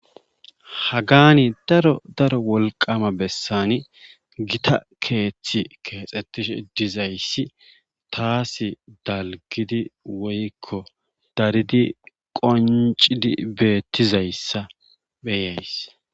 haggan daro daro wolqqama besani gita keethi keexetishe dizayssi taasi dalggidi woykko daridi qonccizi beetizayssa be'ayss.